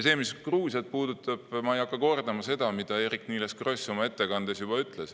Mis Gruusiat puudutab, siis ma ei hakka kordama seda, mida Eerik-Niiles Kross oma ettekandes ütles.